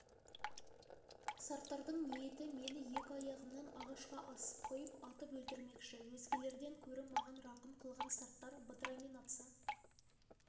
сарттардың ниеті мені екі аяғымнан ағашқа асып қойып атып өлтірмекші өзгелерден көрі маған рақым қылған сарттар бытырамен атса